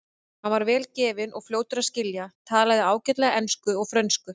Hann var vel gefinn og fljótur að skilja, talaði ágætlega ensku og frönsku.